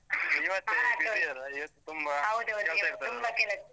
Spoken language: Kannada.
ಇವತ್ತೇ busy ಅಲ್ಲ? ಇವತ್ತು ತುಂಬಾ .